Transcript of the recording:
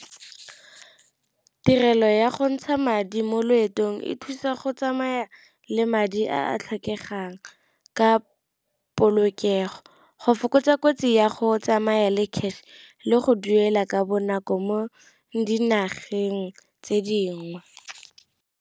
Tirelo ya go ntsha madi mo loetong e thusa go tsamaya le madi a a tlhokegang ka polokego, go fokotsa kotsi ya go tsamaya le cash le go duela ka bonako mo dinageng tse dingwe.